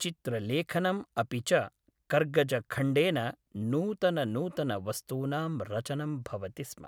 चित्रलेखनं अपि च कर्गजखण्डेन नूतननूतनवस्तूनां रचनं भवति स्म